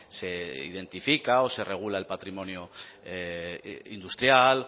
se identifica o se regula el patrimonio industrial